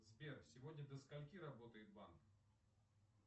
сбер сегодня до скольки работает банк